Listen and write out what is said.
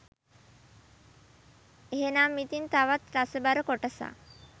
එහෙනම් ඉතින් තවත් රසබර කොටසක්